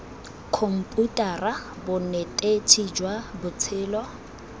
khomputara bonetetshi jwa tsa botshelo